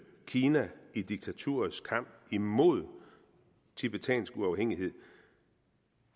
kina i diktaturets kamp imod tibetansk uafhængighed